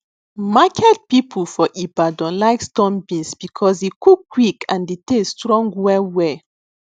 market people for ibadan like storm beans because e cook quick and the taste strong well well